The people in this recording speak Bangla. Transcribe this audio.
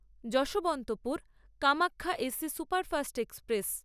Yesvantpur Kamakhya AC superfast express